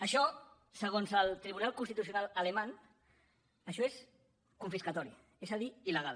això segons el tribunal constitucional alemany això és confiscatori és a dir il·legal